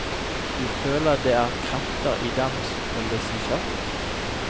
Du føler det er krefter i dem som holdes i sjakk.